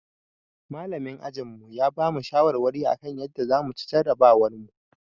Malamin ajinmu ya bamu shawarwari akan yadda zamu ci jarabawarmu